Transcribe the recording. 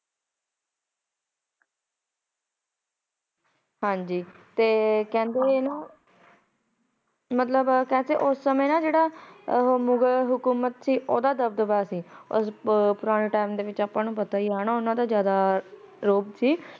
ਹਾਂਜੀ ਤੇ ਕਹਿੰਦੇ ਏ ਨ ਮਤਲਬ ਕਹਿੰਦੇ ਸੀ ਉਸ ਸਮੇਂ ਨਾ ਜੇਹੜਾ ਅਮ ਮੁਗ਼ਲ ਹਕੂਮਤ ਸੀ ਓਹਦਾ ਦਬਦਬਾ ਸੀ ਪੁਰਾਣੇ ਟਾਈਮ ਵਿੱਚ ਆਪਾ ਨੂੰ ਪਤਾ ਹੀ ਹੈ ਨਾ ਉਨਾ ਦਾ ਜਿਆਦਾ ਰੋਹਬ ਸੀ।